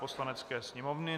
Poslanecké sněmovny